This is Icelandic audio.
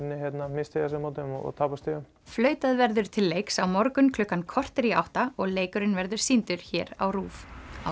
misstíga sig á móti þeim og tapa stigum flautað verður til leiks á morgun klukkan korter í átta og leikurinn verður sýndur hér á RÚV